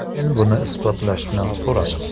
Men buni isbotlashni so‘radim.